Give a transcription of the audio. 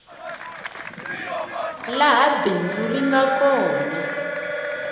laha bindzu ri nga kona